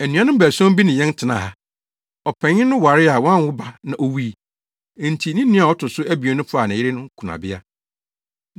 Anuanom baason bi ne yɛn tenaa ha. Ɔpanyin no waree a wanwo ba na owui. Enti ne nua a ɔto so abien no faa ne yere no kunabea.